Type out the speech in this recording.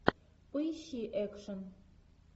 поищи экшен